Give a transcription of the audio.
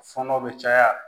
Fɔnɔ bɛ caya